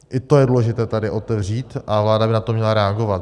I to je důležité tady otevřít a vláda by na to měla reagovat.